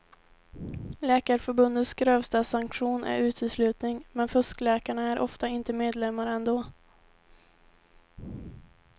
Läkarförbundets grövsta sanktion är uteslutning, men fuskläkarna är ofta inte medlemmar ändå.